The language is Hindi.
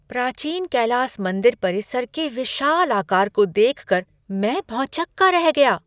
प्राचीन कैलास मंदिर परिसर के विशाल आकार को देख कर मैं भौंचक्का रह गया!